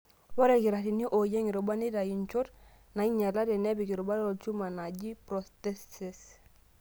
Ore ilkitarrini ooyieng' rubat neitayu nchot nainyalate nepik rubat olchuma naaji prostheses.